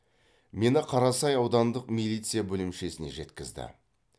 мені қарасай аудандық милиция бөлімшесіне жеткізді